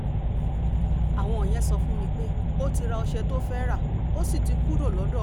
àwọn yẹn sọ fún mi pé ó ti ra ọ̀sẹ̀ tó fẹ́ẹ́ rà ó sì ti kúrò lọ́dọ̀ àwọn